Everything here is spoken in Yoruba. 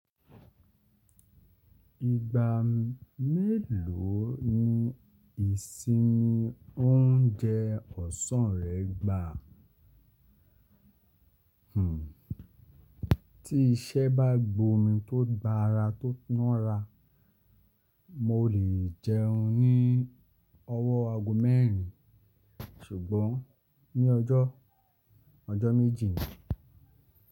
Ìgbà mélòó ni ìsinmi ń jẹ ọ̀sán rẹ gbà? Hmm, tí iṣẹ́ bá gbomi tó gba ara tó ná ra, mo lè jẹun ní ọwọ́ ago mẹ́rin ṣùgbọ́n ní ọjọ́, ọjọ́ méjì ni.